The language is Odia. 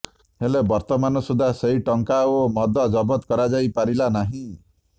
ହେଲେ ବର୍ତ୍ତମାନ ସୁଦ୍ଧା ସେହି ଟଙ୍କା ଓ ମଦ ଜବତ କରାଯାଇପାରିଲା ନାହିଁ